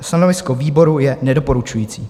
Stanovisko výboru je nedoporučující.